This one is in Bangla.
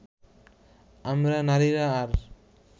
আমরা নারীরা আর